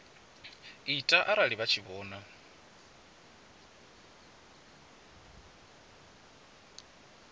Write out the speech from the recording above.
ita arali vha tshi vhona